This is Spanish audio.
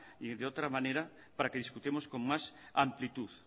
y de otra manera para que discutamos con más amplitud